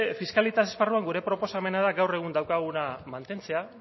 fiskalitate esparruan gure proposamena da gaur egun daukaguna mantentzea